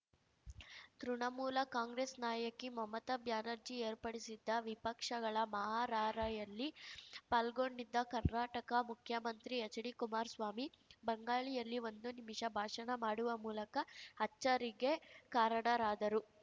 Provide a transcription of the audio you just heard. Trinamool Congress ನಾಯಕಿ ಮಮತಾ ಬ್ಯಾನರ್ಜಿ ಏರ್ಪಡಿಸಿದ್ದ ವಿಪಕ್ಷಗಳ ಮಹಾ ರಾರ‍ಯಲ್ಲಿ ಪಾಲ್ಗೊಂಡಿದ್ದ ಕರ್ನಾಟಕ ಮುಖ್ಯಮಂತ್ರಿ ಎಚ್‌ಡಿ ಕುಮಾರ್ಸ್ವಾಮಿ ಬಂಗಾಳಿಯಲ್ಲಿ ಒಂದು ನಿಮಿಷ ಭಾಷಣ ಮಾಡುವ ಮೂಲಕ ಅಚ್ಚರಿಗೆ ಕಾರಣರಾದರು